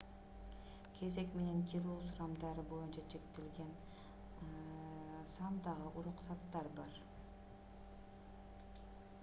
кезек менен кирүү сурамдары боюнча чектелген сандагы уруксаттар бар